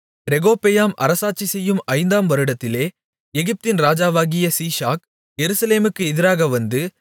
ரெகொபெயாம் அரசாட்சிசெய்யும் ஐந்தாம் வருடத்திலே எகிப்தின் ராஜாவாகிய சீஷாக் எருசலேமுக்கு எதிராக வந்து